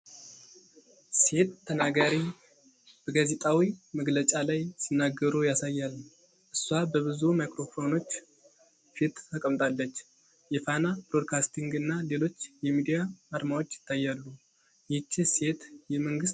ሴት ተናጋሪ በጋዜጣዊ መግለጫ ላይ ሲናገሩ ያሳያል። እሷ በብዙ ማይክሮፎኖች ፊት ተቀምጣለች። የፋና ብሮድካስቲንግ እና ሌሎች የሚዲያ አርማዎች ይታያሉ። ይህች ሴት የመንግስት ባለስልጣን ናት?